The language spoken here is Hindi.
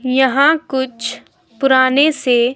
यहां कुछ पुराने से ।